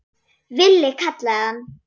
Villi kallaði hann.